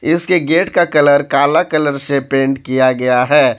इसके गेट का कलर काला कलर से पेंट किया गया है।